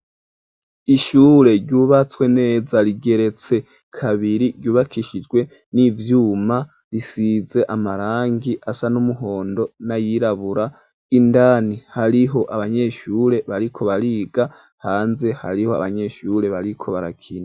Ishure ryubatswe neza rigeretse kabiri ryubakishijwe n'ivyuma risize amarangi asa n'umuhondo nayirabura indani hariho abanyeshure bariko bariga hanze hariho abanyeshure bariko barakina.